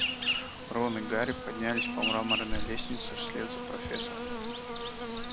рон и гарри поднялись по мраморной лестнице вслед за профессором